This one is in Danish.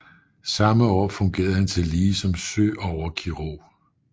Samme år fungerede han tillige som søoverkirurg